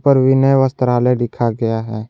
पर विनय वस्त्रालय लिखा गया है।